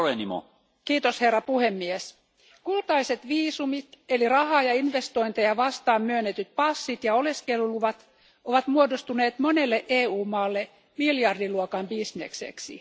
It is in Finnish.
Arvoisa puhemies, kultaiset viisumit eli rahaa ja investointeja vastaan myönnetyt passit ja oleskeluluvat ovat muodostuneet monelle EU maalle miljardiluokan bisnekseksi.